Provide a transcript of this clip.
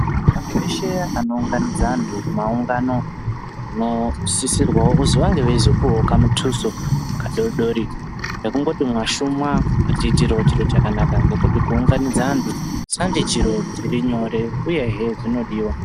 Antu eshe anounganidza antu kumaungano nosisirwawo kuziwa ngewezokuwokamutusu kadodori nekungoti mwashuma matiitirawo chiro chakanaka nokuti kuunganidza antu sandi chiro chirinyore uyehe zvinodiwa